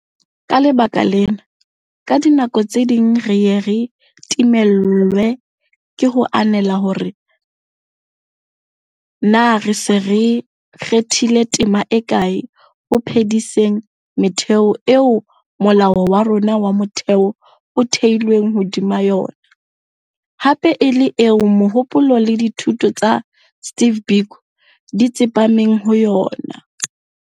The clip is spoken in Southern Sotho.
Ka lebaka lena, ka dinako tse ding re ye re timellwe ke ho ananela hore na re se re kgathile tema e kae ho phediseng metheo eo Molao wa rona wa Motheo o theilweng hodima yona hape e le eo mohopolo le dithuto tsa Steve Biko di tsepameng ho yona.